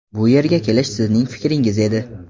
Bu yerga kelish sizning fikringiz edi.